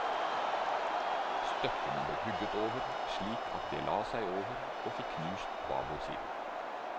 Støttene ble hugget over slik at det la seg over og fikk knust babord side.